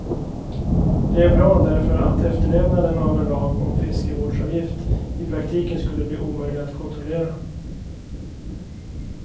Det är bra därför att efterlevnaden av en lag om fiskevårdsavgift i praktiken skulle bli omöjlig att kontrollera.